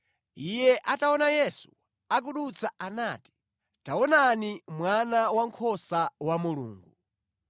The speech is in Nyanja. Iye ataona Yesu akudutsa anati, “Taonani Mwana Wankhosa wa Mulungu!”